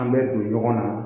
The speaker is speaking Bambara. An bɛ don ɲɔgɔn na